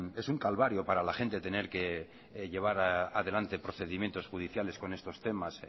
es un calvario para la gente tener que llevar adelante procedimientos judiciales con estos temas